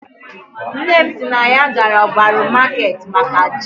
Nne m si na ya gara ogbaru market maka ji